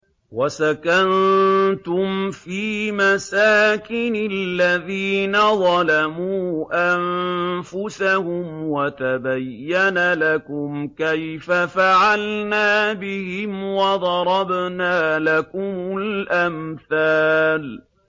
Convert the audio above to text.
وَسَكَنتُمْ فِي مَسَاكِنِ الَّذِينَ ظَلَمُوا أَنفُسَهُمْ وَتَبَيَّنَ لَكُمْ كَيْفَ فَعَلْنَا بِهِمْ وَضَرَبْنَا لَكُمُ الْأَمْثَالَ